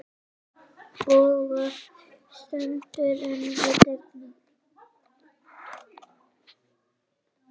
Bogga stendur ein við dyrnar.